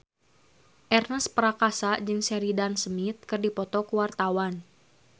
Ernest Prakasa jeung Sheridan Smith keur dipoto ku wartawan